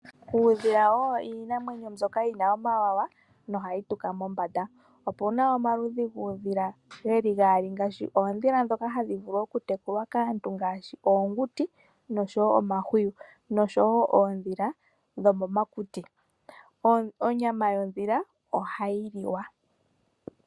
Uudhila owo iinamwenyo mbyoka yina omawawa na ohayi tuka mombanda. Opuna omaludhi guudhila geli gaali ngaashi ondhila dhoka hadhi vulu okutekulwa kaantu ngaashi oonguti nosho wo omahwiyu nosho wo oondhila dhomomakuti. Onyama yondhila ohayi liwa.